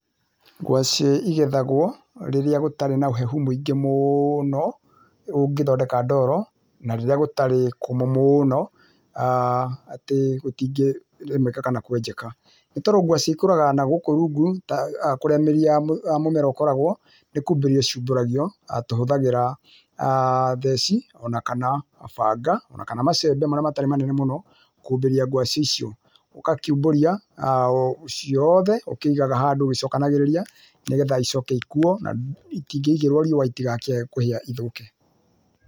Ngwacĩ igethagwo rĩrĩa gũtarĩ na ũhehu mwingĩ mũno ũngĩthondeka ndoro na rĩrĩa gũtarĩ kũmũ mũno[uhh]atĩ gũtĩngĩrĩmĩka kana kwenjeka. Nĩ tondũ ngwacĩ ikũraga nagũkũ rungu kũrĩa mĩri ya mĩmera ĩkoragwo nĩkumbũria ciĩmbũragio tũhũthaagĩra theci onakana banga, macembe marĩa matarĩ manene mũno kumbũria ngwaci icio, ũgakiũmbũria[uhh] ciothe ũkĩiganga handũ ũgĩcokanĩrĩrĩa nĩgetha icoke ikũo itĩngĩigĩrwo riũa itikiage kũhia ithũke.